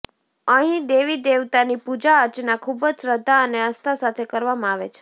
અહીં દેવી દેવતાની પૂજા અર્ચના ખુબ જ શ્રદ્ધા અને આસ્થા સાથે કરવામાં આવે છે